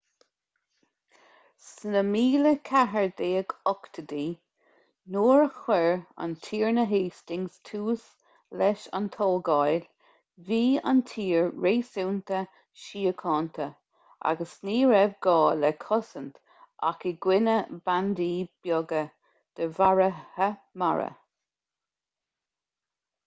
sna 1480idí nuair a chuir an tiarna hastings tús leis an tógáil bhí an tír réasúnta síochánta agus ní raibh gá le cosaint ach i gcoinne bandaí beaga de mharaithe mara